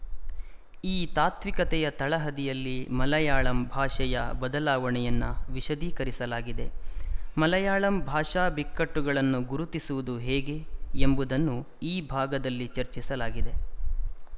ಈ ತಾತ್ವಿಕತೆಯ ತಳಹದಿಯಲ್ಲಿ ಮಲಯಾಳಂ ಭಾಷೆಯ ಬದಲಾವಣೆಯನ್ನು ವಿಶದೀಕರಿಸಲಾಗಿದೆ ಮಲಯಾಳಂ ಭಾಷಾ ಬಿಕ್ಕಟ್ಟುಗಳನ್ನು ಗುರುತಿಸುವುದು ಹೇಗೆ ಎಂಬುದನ್ನು ಈ ಭಾಗದಲ್ಲಿ ಚರ್ಚಿಸಲಾಗಿದೆ